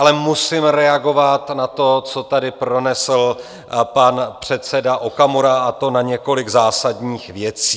Ale musím reagovat na to, co tady pronesl pan předseda Okamura, a to na několik zásadních věcí.